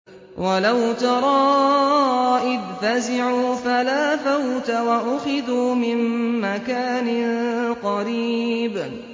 وَلَوْ تَرَىٰ إِذْ فَزِعُوا فَلَا فَوْتَ وَأُخِذُوا مِن مَّكَانٍ قَرِيبٍ